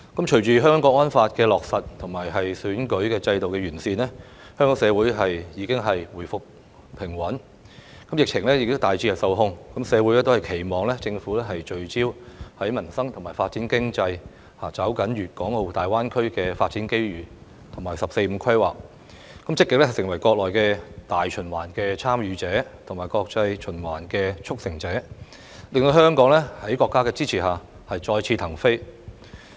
隨着《香港國安法》的落實和選舉制度的完善，香港社會已回復平穩，疫情也大致受控，社會都期望政府聚焦民生，發展經濟，抓緊粵港澳大灣區發展機遇及"十四五"規劃，積極成為國內大循環的"參與者"和國際循環的"促成者"，令香港在國家的支持下再次騰飛。